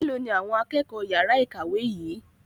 Melo ni àwọn akẹ́kọ̀ọ́ yara ìkàwé yìí?